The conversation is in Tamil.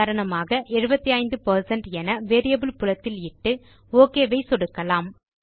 உதாரணமாக 75 என வேரியபிள் புலத்தில் இட்டு ஒக் ஐ சொடுக்கலாம்